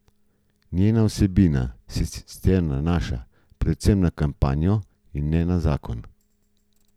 Njena vsebina se sicer nanaša predvsem na kampanjo in ne na zakon.